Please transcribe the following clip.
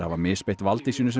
hafa misbeitt valdi sínu sem